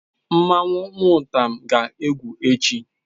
Nmanwu nwutam ga-egwu echi